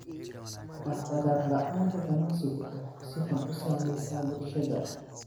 Dhaqdhaqaaq la'aanta ganacsigu waxay si xun u saamaysaa bulshada.